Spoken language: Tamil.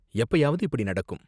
எப்பயாவது இப்படி நடக்கும்.